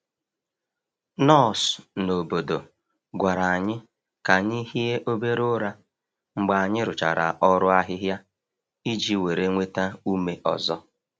Nọọsụ n’obodo gwara anyị ka anyị hie obere ụra mgbe anyị rụchara ọrụ ahịhịa iji were nweta ume ọzọ.